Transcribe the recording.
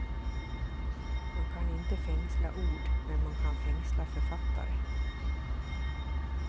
Man kan inte fängsla ord, men man kan fängsla författare.